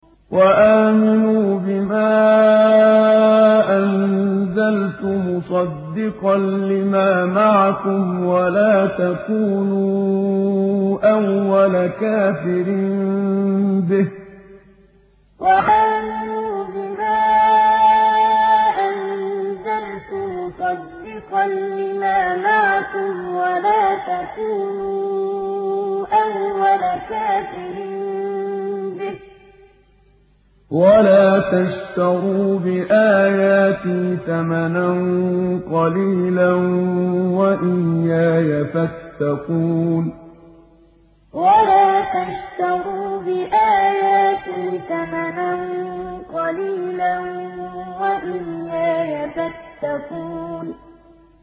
وَآمِنُوا بِمَا أَنزَلْتُ مُصَدِّقًا لِّمَا مَعَكُمْ وَلَا تَكُونُوا أَوَّلَ كَافِرٍ بِهِ ۖ وَلَا تَشْتَرُوا بِآيَاتِي ثَمَنًا قَلِيلًا وَإِيَّايَ فَاتَّقُونِ وَآمِنُوا بِمَا أَنزَلْتُ مُصَدِّقًا لِّمَا مَعَكُمْ وَلَا تَكُونُوا أَوَّلَ كَافِرٍ بِهِ ۖ وَلَا تَشْتَرُوا بِآيَاتِي ثَمَنًا قَلِيلًا وَإِيَّايَ فَاتَّقُونِ